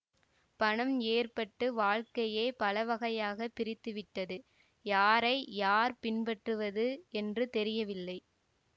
பணம் ஏற்பட்டு வாழ்க்கையை பலவகையாகப் பிரித்துவிட்டது யாரை யார் பின்பற்றுவது என்று தெரியவில்லை